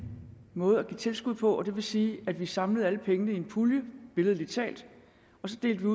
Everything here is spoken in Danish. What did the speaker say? måde at give tilskud på og det vil sige hvor vi samlede alle pengene i en pulje billedligt talt og delte